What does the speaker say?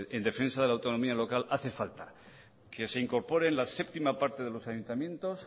en defensa de la autonomía local hace falta que se incorporen la séptima parte de los ayuntamientos